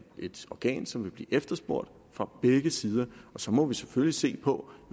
et organ som vil blive efterspurgt fra begge sider og så må vi selvfølgelig se på